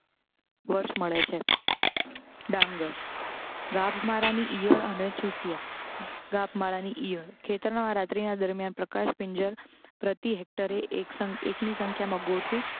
વર્ષ મળે છે ડાંગર ગાભમારા ની ઇયળ અને ચૂસિયાં. ગાભમારાની ઇયળ ખેતરના રાત્રિના દરમ્યાન પ્રકાશ પિંજર પ્રતિ હેક્ટરે એક સંખ્ એકની સંખ્યામાં ગોઠવી